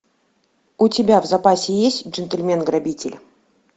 у тебя в запасе есть джентльмен грабитель